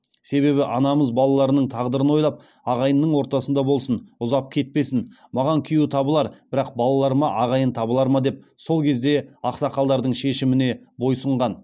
себебі анамыз балаларының тағдырын ойлап ағайынның ортасында болсын ұзап кетпесін маған күйеу табылар бірақ балалаларыма ағайын табылар ма деп сол кезде ақсақалдардың шешіміне бойұсынған